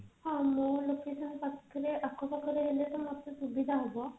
ହଁ ମୋ location ପାଖରେ ଆଖ ପାଖରେ ହେଲେ ତ ମୋତେ ସୁବିଧା ହେବ